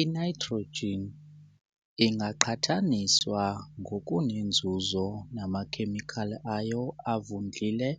I-nitrogen ingaqhathaniswa ngokunenzuzo namakhemikhali ayo avundlile